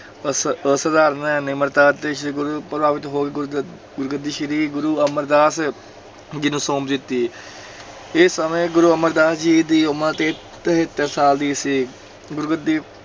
ਅਸ ਅਸਧਾਰਨ ਨਿਮਰਤਾ ਅਤੇ ਸੇਵਾ ਤੋਂ ਪ੍ਰਭਾਵਿਤ ਹੋ ਕੇ ਗੁਰਗ ਗੁਰਗੱਦੀ ਸ੍ਰੀ ਗੁਰੂ ਅਮਰਦਾਸ ਜੀ ਨੂੰ ਸੌਂਪ ਦਿੱਤੀ ਇਸ ਸਮੇ ਗੁਰੂ ਅਮਰਦਾਸ ਜੀ ਦੀ ਉਮਰ ਤੇ ਤਹੇਤਰ ਸਾਲ ਦੀ ਸੀ, ਗੁਰਗੱਦੀ